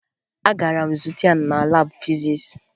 Agara m zute ya na laabụ fizis